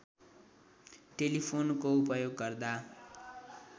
टेलिफोनको उपयोग गर्दा